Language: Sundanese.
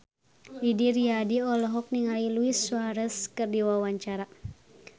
Didi Riyadi olohok ningali Luis Suarez keur diwawancara